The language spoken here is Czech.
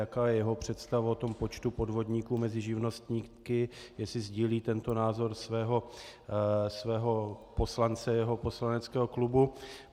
Jaká je jeho představa o tom počtu podvodníků mezi živnostníky, jestli sdílí tento názor svého poslance jeho poslaneckého klubu.